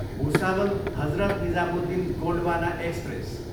Bhusawal, Hazrat Nizamuddin Gondwana express